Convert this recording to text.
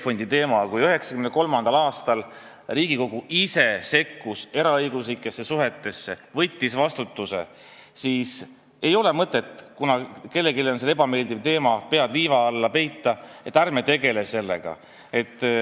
Kui 1993. aastal Riigikogu ise sekkus eraõiguslikesse suhetesse, võttis vastutuse enda peale, siis ei ole mõtet selle pärast, et see on kellelegi ebameeldiv teema, pead liiva alla peita ja öelda, et ärme tegeleme sellega.